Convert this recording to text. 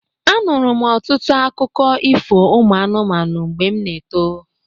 Anụrụ m ọtụtụ akụkụ ifo ụmụ anụmanụ mgbe m n'eto.